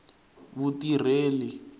vutireli